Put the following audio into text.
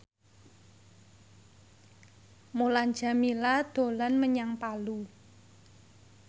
Mulan Jameela dolan menyang Palu